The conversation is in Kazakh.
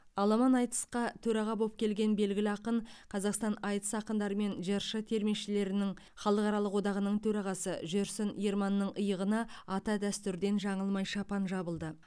аламан айтысқа төраға болып келген белгілі ақын қазақстан айтыс ақындары мен жыршы термешілердің халықаралық одағының төрағасы жүрсін ерманның иығына ата дәстүрден жаңылмай шапан жабылды